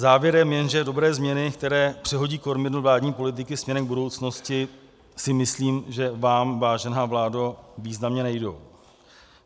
Závěrem jen, že dobré změny, které přehodí kormidlo vládní politiky směrem k budoucnosti, si myslím, že vám, vážená vládo, významně nejdou.